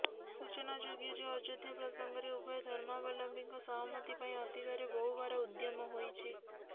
ସୂଚନାଯୋଗ୍ୟ ଯେ ଅଯୋଧ୍ୟା ପ୍ରସଙ୍ଗରେ ଉଭୟ ଧର୍ମାବଲମ୍ୱୀଙ୍କ ସହମତି ପାଇଁ ଅତୀତରେ ବହୁବାର ଉଦ୍ୟମ ହୋଇଛି